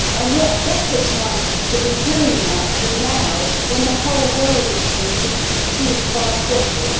What better time to be doing that than now, when the whole world it seems is consumed by football?